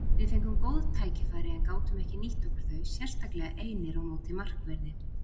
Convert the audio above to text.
Við fengum góð tækifæri en gátum ekki nýtt okkur þau, sérstaklega einir á móti markverði.